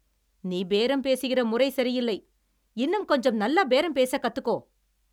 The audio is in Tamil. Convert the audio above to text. நீ பேரம் பேசுகிற முறை சரியில்லை. இன்னும் கொஞ்சம் நல்லா பேரம் பேசக் கத்துக்கோ.